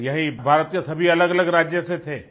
हाँ यही भारत के सभी अलगअलग राज्य से थे